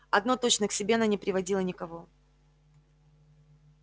одно точно к себе она не приводила никого